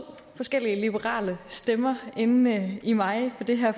forskellige liberale stemmer inden i mig på det her